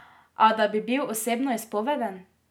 A, da bi bil osebnoizpoveden?